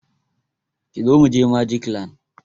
Kizo mu je Magic land!